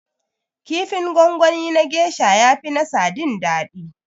Kifin gwangwani na gesha ya fi na sadin daɗi